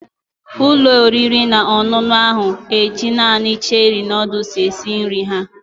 Ụlọ oriri na ọṅụṅụ ahụ na-eji naanị Cherie noodles esi nri ha.